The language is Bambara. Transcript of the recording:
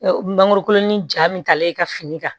Mangoro kolon ni ja min taalen ka fini kan